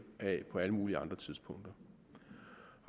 af på alle mulige andre tidspunkter